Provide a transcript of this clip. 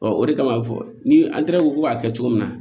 o de kama fɔ ni an taara ko b'a kɛ cogo min na